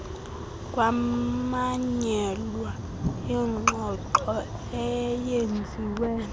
kwamanyelwa ingxoxo eyenziwe